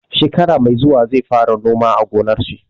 Shekara mai zuwa zai fara noma a gonar shi.